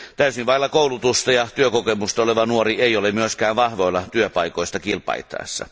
Täysin vailla koulutusta ja työkokemusta oleva nuori ei ole myöskään vahvoilla työpaikoista kilpailtaessa.